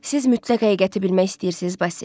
Siz mütləq həqiqəti bilmək istəyirsiz, Basil?